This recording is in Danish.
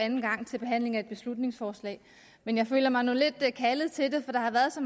anden gang ved behandlingen af et beslutningsforslag men jeg føler mig nu lidt kaldet til det for der har været så